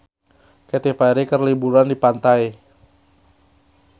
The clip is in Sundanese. Katy Perry keur liburan di pantai